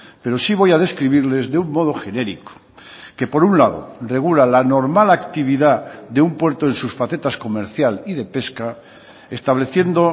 pero sí voy a describirles de un modo genérico que por un lado regula la normal actividad de un puerto en sus facetas comerciales y de pesca estableciendo